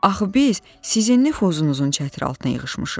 Axı biz sizin nüfuzunuzun çətri altına yığışmışıq.